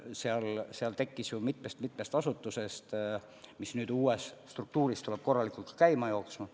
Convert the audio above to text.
See tekkis ju mitmest-setmest asutusest ja tuleb nüüd uue struktuurina korralikult käima saada.